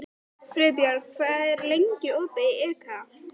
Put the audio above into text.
Friðbjörg, hvað er lengi opið í IKEA?